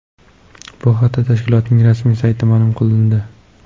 Bu haqda tashkilotning rasmiy saytida ma’lum qilindi .